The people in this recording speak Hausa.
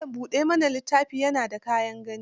Malan buɗa mana littafi na da kyan gani.